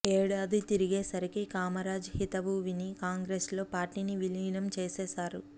ఏడాది తిరిగేసరికి కామరాజ్ హితవు విని కాంగ్రెసులో పార్టీని విలీనం చేసేశారు